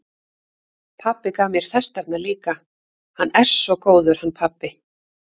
Pabbi gaf mér festarnar líka, hann er svo góður, hann pabbi.